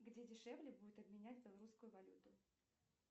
где дешевле будет обменять белорусскую валюту